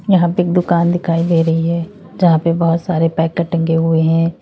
यहां पे एक दुकान दिखाई दे रही है यहां पे बहुत सारे पैकेट टंगे हुए हैं।